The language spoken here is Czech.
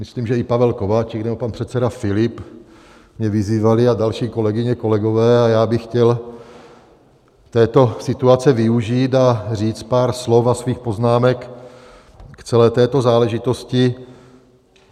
Myslím, že i Pavel Kováčik nebo pan předseda Filip mě vyzývali, a další kolegyně, kolegové, a já bych chtěl této situace využít a říct pár slov a svých poznámek k celé této záležitosti.